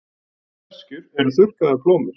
Sveskjur eru þurrkaðar plómur.